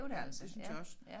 Ja det synes jeg også